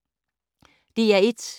DR1